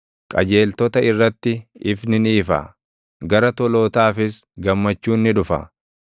Qajeeltota irratti ifni ni ifa; gara tolootaafis gammachuun ni dhufa.